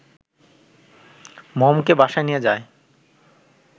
মমকে বাসায় নিয়ে যায়